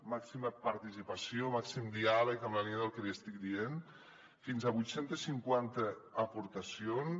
màxima participació màxim diàleg en la línia del que li estic dient fins a vuit cents i cinquanta aportacions